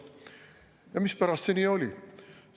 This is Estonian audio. Ja mispärast see nii oli?